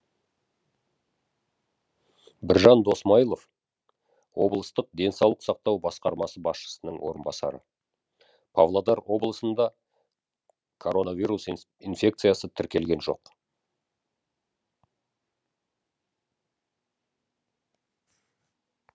біржан досмайылов облыстық денсаулық сақтау басқармасы басшысының орынбасары павлодар облысында коронавирус инфекциясы тіркелген жоқ